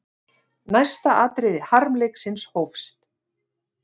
Næsta atriði harmleiksins hófst.